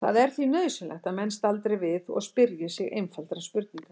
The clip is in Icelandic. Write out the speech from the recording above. Það er því nauðsynlegt að menn staldri við og spyrji sig einfaldra spurninga